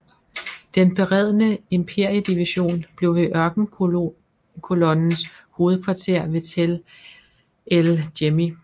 Den beredne imperiedivision blev ved Ørkenkolonnens hovedkvarter ved Tel el Jemmi